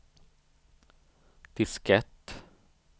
diskett